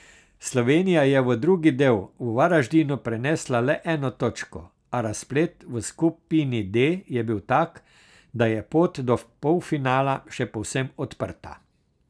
Slovenija je v drugi del v Varadžinu prenesla le eno točko, a razplet v skupini D je bil tak, da je pot do polfinala še povsem odprta.